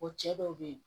O cɛ dɔw be yen